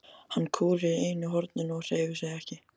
Hún kúrir í einu horninu og hreyfir sig ekki.